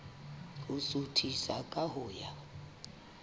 ho suthisa ka ho ya